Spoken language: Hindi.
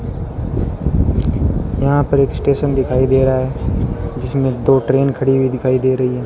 यहां पर एक स्टेशन दिखाई दे रहा है जिसमें दो ट्रेन खड़ी हुई दिखाई दे रही है।